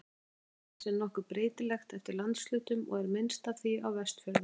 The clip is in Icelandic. Magn þess er nokkuð breytilegt eftir landshlutum og er minnst af því á Vestfjörðum.